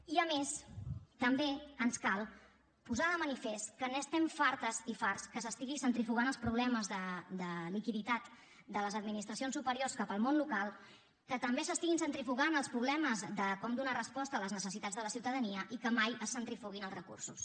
i a més també ens cal posar de manifest que n’estem fartes i farts que s’estigui centrifugant els problemes de liquiditat de les administracions superiors cap al món local que també s’estiguin centrifugant els problemes de com donar resposta a les necessitats de la ciutadania i que mai es centrifuguin els recursos